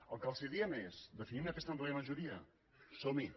el que els diem és definim aquesta àmplia majoria somhi